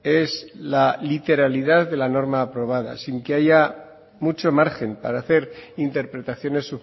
es la literalidad de la norma aprobada sin que haya mucho margen para hacer interpretaciones